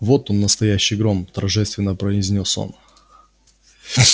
вот он настоящий гром торжественно произнёс он